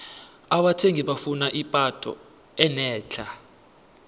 abathengi bafuna ipatho enetlha